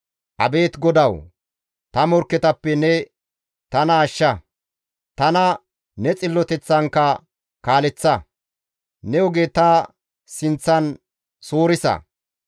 Abeet GODAWU! Ta morkketappe ne tana ashsha; tana ne xilloteththankka kaaleththa; ne oge ta sinththan suurisa.